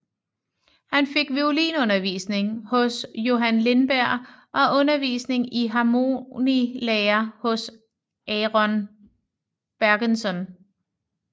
Han fik violinundervisning hos Johan Lindberg og undervisning i harmonilære hos Aron Bergenson